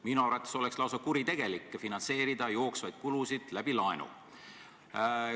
Minu arvates oleks lausa kuritegelik finantseerida jooksvaid kulusid läbi laenu.